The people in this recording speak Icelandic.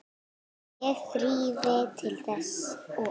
Ég þríf til þess og